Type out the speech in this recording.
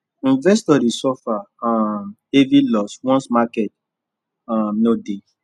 investors dey suffer um heavy loss once market um no dey